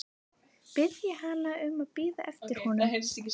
Biðja hana um að bíða eftir honum.